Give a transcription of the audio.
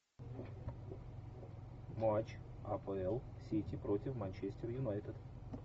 матч апл сити против манчестер юнайтед